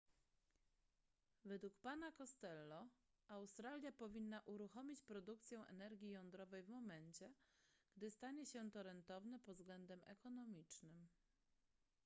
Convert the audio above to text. według pana costello australia powinna uruchomić produkcję energii jądrowej w momencie gdy stanie się to rentowne pod względem ekonomicznym